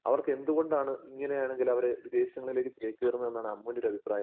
അവർക്കെന്തുകൊണ്ടാണ് ഇങ്ങനെയാണെങ്കിലവര് വിദേശങ്ങളിലേക്ക് ചേക്കേറുന്നതെന്നാണ് അമ്മുവിന്റൊരഭിപ്രായം?